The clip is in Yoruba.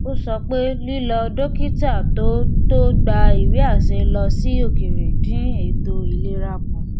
ó sọ pé lílọ dókítà tó tó gba ìwéàṣẹ lọ sí òkèèrè dín ètò ìlera kù